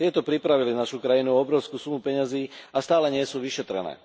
Tieto pripravili našu krajinu o obrovskú sumu peňazí a stále nie sú vyšetrené.